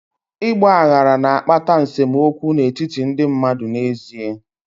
Ịgba aghara na-akpata nsemokwu n'etiti ndị mmadụ n'ezie.